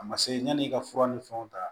A ma se yan'i ka fura ni fɛnw ta